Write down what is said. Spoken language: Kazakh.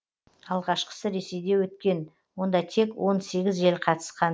алғашқысы ресейде өткен онда тек он сегіз ел қатысқан